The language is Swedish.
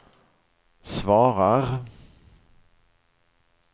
svarar